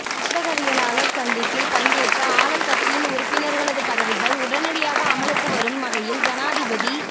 ஊடகவியலாளர் சந்திப்பில் பங்கேற்ற ஆளும் கட்சியின் உறுப்பினர்களது பதவிகள் உடனடியாக அமுலுக்கும் வரும் வகையில் ஜனாதிபதி